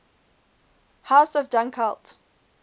house of dunkeld